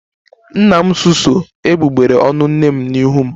Nna m susuo egbugbere ọnụ nne m n'ihu m